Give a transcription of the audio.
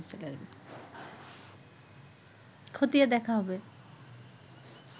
খতিয়ে দেখা হবে